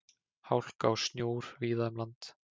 Hálka og snjór víða um land